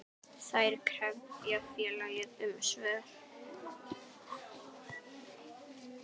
Þær krefja félagið um svör.